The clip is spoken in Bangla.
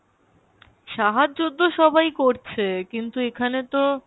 সাহায্য তো সবাই করছে কিন্তু এখানে তো,